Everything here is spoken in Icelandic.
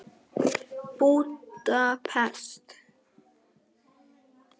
Búdapest